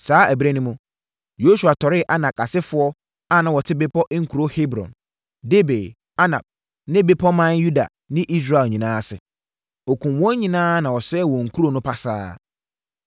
Saa ɛberɛ no mu, Yosua tɔree Anak asefoɔ a na wɔte bepɔ nkuro Hebron, Debir, Anab ne bepɔman Yuda ne Israel nyinaa ase. Ɔkumm wɔn nyinaa na ɔsɛee wɔn nkuro no pasaa.